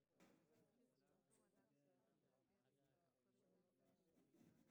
Sababta asaasiga ah ee granuloma annulare lama garanayo.